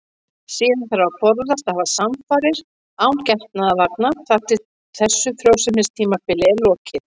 Síðan þarf að forðast að hafa samfarir án getnaðarvarna þar til þessu frjósemistímabili er lokið.